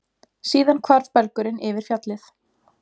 Síðan hvarf belgurinn yfir fjallið.